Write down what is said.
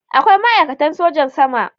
Akwai ma'aikatan sojan sama.